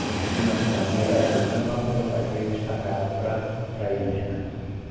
Eu nasci na cidade de Iaraçu, mas logo meu pai foi destacado para a para a ilha, né?